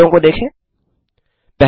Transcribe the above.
उत्तरों को देखें 1